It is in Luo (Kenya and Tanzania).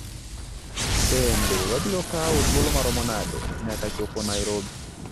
Bende wabiro kawo thuolo maomo nade nyaka chopo Nairobi?